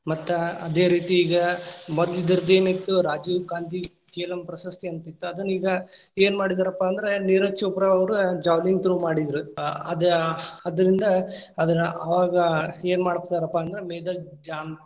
ಮತ್ತ ಅದೇ ರೀತಿ ಈಗ ಮದ್ಲಿದ್ದೊರ್ದ ಎನಿತ್ತು ರಾಜುಗಾಂಧಿ ಕೆಲಂ ಪ್ರಶಸ್ತಿ ಅಂತಿತ್. ಅದನ್ ಈಗ ಏನಮಾಡಿದಾರಪ್ಪಾ ಅಂದ್ರ ನಿರಜ್ ಚೋಪ್ರಾ ಅವ್ರು ಜಾಲಿಂಗ್‌ ಥ್ರೋ ಮಾಡಿದ್ರ. ಆ ಅದ ಅದರ್ಲಿಂದ ಅದರ ಅವಾಗ್‌ ಏನ್‌ ಮಾಡ್ತಾರಪ್ಪಾ ಅಂದ್ರ ಮೇಜರ್ ಜಾನ್‌.